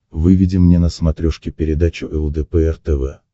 выведи мне на смотрешке передачу лдпр тв